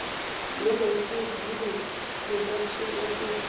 yirefugee reception office